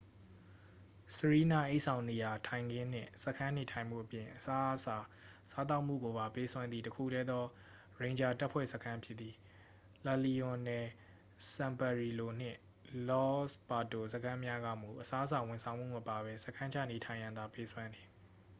စရီးနအိပ်ဆောင်နေရာထိုင်ခင်းနှင့် စခန်းနေထိုင်မှုအပြင် အစားအစာစားသောက်မှုကိုပါ ပေးစွမ်းသည့် တစ်ခုတည်းသော ရိန်ဂျာတပ်ဖွဲ့စခန်းဖြစ်သည် လလီရွန်နယ်စန်ပတ်ရီလို နှင့် လော့စ်ပါတို စခန်းများကမူ အစားအစာဝန်ဆောင်မှုမပါဘဲ စခန်းချနေထိုင်ရန်သာ ပေးစွမ်းသည်